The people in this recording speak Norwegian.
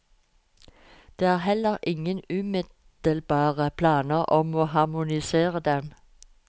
Det er heller ingen umiddelbare planer om å harmonisere dem.